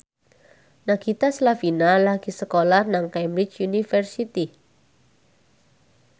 Nagita Slavina lagi sekolah nang Cambridge University